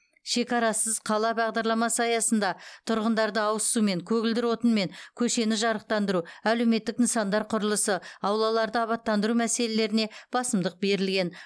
шекарасыз қала бағдарламасы аясында тұрғындарды ауызсумен көгілдір отынмен көшені жарықтандыру әлеуметтік нысандар құрылысы аулаларды абаттандыру мәселелеріне басымдық берілген